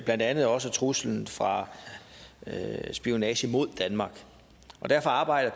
blandt andet også truslen fra spionage mod danmark og derfor arbejder